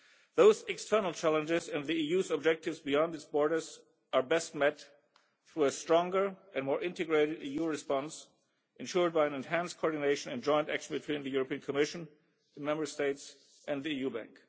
Those external challenges and the EU's objectives beyond its borders are best met through a stronger and more integrated EU response, ensured by enhanced coordination and joint action between the European Commission, the Member States and the EU bank.